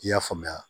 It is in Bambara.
I y'a faamuya